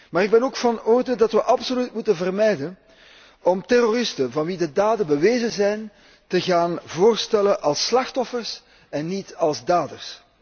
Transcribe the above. Maar ik ben ook van oordeel dat wij absoluut moeten vermijden om terroristen van wie de daden bewezen zijn, te gaan voorstellen als slachtoffers en niet als daders.